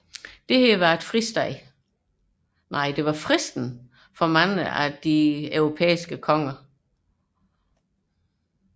Dette var fristende for mange af de europæiske konger